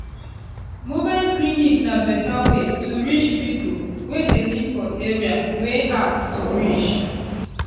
mobile clinic na better way to reach people wey dey live for area wey hard to reach.